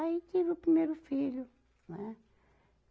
Aí tive o primeiro filho, né?